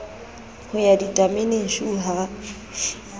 ho ya ditameneng shu ha